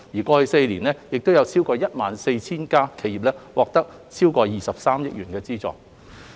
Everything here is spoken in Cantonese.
過去4年，已有超過 14,000 家企業已獲得超過23億元的資助。